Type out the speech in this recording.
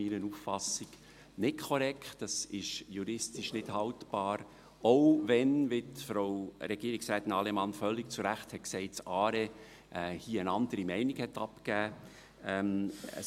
Dies ist meiner Auffassung nach nicht korrekt und juristisch nicht haltbar, selbst wenn – wie dies Frau Regierungsrätin Allemann völlig zu Recht gesagt hat – das ARE hier eine andere Meinung abgegeben hat.